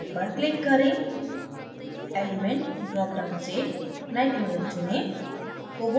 panel पर click करें element drop down से nitrogen चुनें